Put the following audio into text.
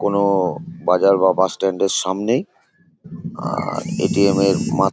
কোনো বাজার বা বাস স্ট্যান্ড -এর সামনেই। আহ এ.টি.এম. -এর মাত --